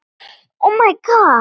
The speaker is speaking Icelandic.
Hann er alltaf eins.